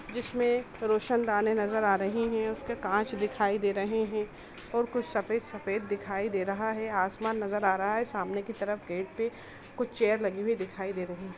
जिसमें रोशन दाने नजर आ रही है उस के कांच दिखाई दे रहे है और कुछ सफेद दिखाई दे रहा है आसमान नजर आ रहा है सामने की तरफ गेट कुछ चेयर लगी हुई दिखाई दे रही है।